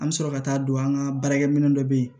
An bɛ sɔrɔ ka taa don an ka baarakɛ minɛn dɔ bɛ yen